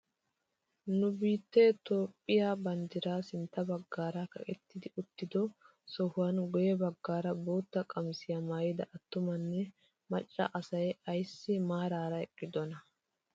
Ni biittee itoophphiyaa banddiray sintta baggaara kaqettidi uttido sohuwaan guywe baggaara bootta qamisiyaa maayida attumanne macca asay ayssi maarara eqqidonaa?